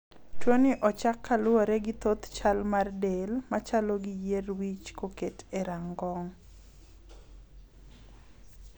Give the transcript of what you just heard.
Tuoni ochak ka luwore gi thoth chal mar del machalo gi yier wich koketi e rangong'.